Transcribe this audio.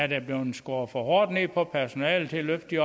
der er blevet skåret for hårdt ned på personalet til at de